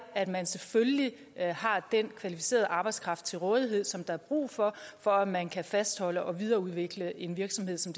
at man selvfølgelig har den kvalificerede arbejdskraft til rådighed som der er brug for for at man kan fastholde og videreudvikle en virksomhed som